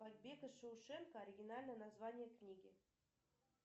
побег из шоушенка оригинальное название книги